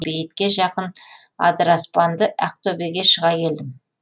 бейітке жақын адыраспанды ақ төбеге шыға келдім